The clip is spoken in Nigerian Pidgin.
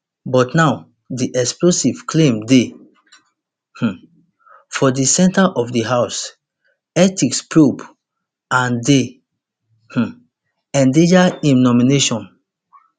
but now di explosive claim dey um for di centre of di house ethics probe and dey um endanger im nomination